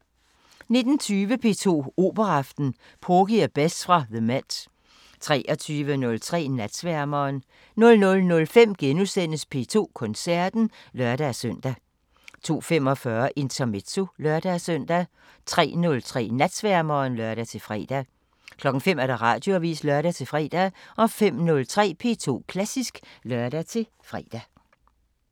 19:20: P2 Operaaften: Porgy og Bess fra The MET 23:03: Natsværmeren 00:05: P2 Koncerten *(lør-søn) 02:45: Intermezzo (lør-søn) 03:03: Natsværmeren (lør-fre) 05:00: Radioavisen (lør-fre) 05:03: P2 Klassisk (lør-fre)